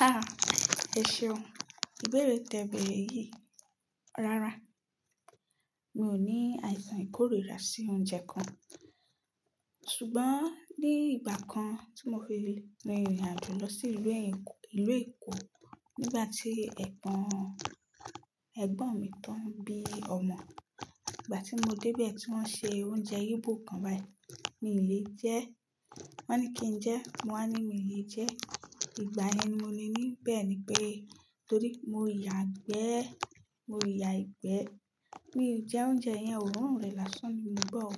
Ha! Ẹ̀ṣeun ìbéèrè tẹ̀ béèrè yìí rárá. Mi ò ní àìsàn ìkórìíra sí oúnjẹ kan. Ṣùgbọ́n ní ìgbà kan tí mo fi rìn ìrìn àjò lọ sí ìlú Èkó nígbà tí ẹ̀gbọ́n mi tó ń bí ọmọ. Ìgbà tí mo débe tí wọ́n ńṣe oúnjẹ Igbo kan báyìí, mi ò lè jẹ ẹ́. Wọ́n ní kí n jẹ ẹ́, mo wá ní míì lè jẹ ẹ́. Ìgbà yẹn ni mo ní bẹ́ẹ̀ni pé torí mo yàgbẹ́, mo yà ìgbẹ́. Mi ò jẹ oúnjẹ yẹn, òórùn rẹ̀ lásán ni mọ́ gbọ́ o.